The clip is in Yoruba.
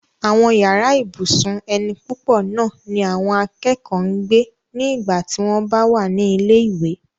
àwọn yàrá ibùsùn ẹni púpọ̀ náà ni àwọn akẹ́kọ̀ọ́ ń gbé ní ìgbà tí wọ́n bá wà ní ilé ìwé